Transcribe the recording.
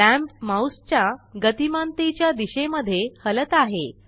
lamp mouse च्या गतिमानतेच्या दिशेमध्ये हलत आहे